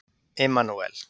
Immanúel